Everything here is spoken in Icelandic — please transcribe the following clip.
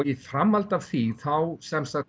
í framhaldi af því þá